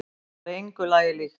Þetta var engu lagi líkt.